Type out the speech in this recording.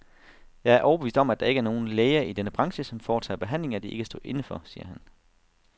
Jeg er overbevist om, at der ikke er nogen læger i denne branche, som foretager behandlinger, de ikke kan stå inde for, siger han.